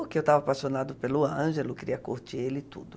porque eu estava apaixonado pelo Ângelo, queria curtir ele e tudo.